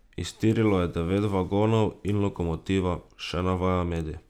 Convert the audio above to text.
Iztirilo je devet vagonov in lokomotiva, še navaja medij.